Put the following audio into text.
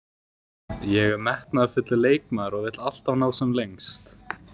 Ég er metnaðarfullur leikmaður og vil alltaf ná sem lengst.